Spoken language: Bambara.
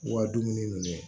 U ka dumuni nɛnɛ